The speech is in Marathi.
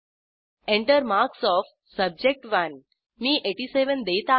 Enter मार्क्स ओएफ सब्जेक्ट1 मी 87 देत आहे